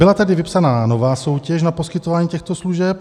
Byla tedy vypsaná nová soutěž na poskytování těchto služeb.